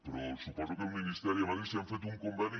però suposo que el ministeri a madrid si han fet un conveni